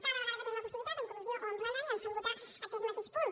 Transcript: cada vegada que en tenen la possibilitat en comissió o en plenari ens fan votar aquest mateix punt